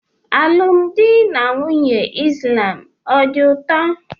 Alụmdi na nwunye islam ọ dị ụtọ?